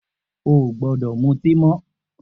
O ò gbódò mutí mó̩!